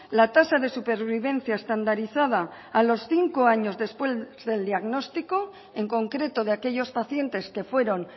la tasa de supervivencia estandarizada a los cinco años después del diagnóstico en concreto de aquellos pacientes que fueron